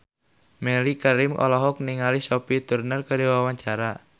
Mellisa Karim olohok ningali Sophie Turner keur diwawancara